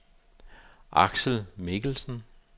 Axel Mikkelsen